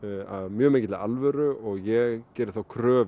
af mjög mikilli alvöru og ég geri þá kröfu